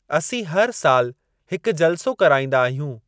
असीं हर साल हिक जलसो कराईंदा आहियूं।